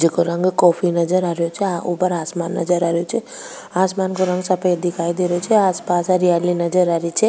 जिको रंग कॉफी नजर आरयो छ ऊपर आसमान नजर आरयो छ आसमान को रंग सफेद दिखाई दे रयो छ आस पास हरियाली नजर आ री छ।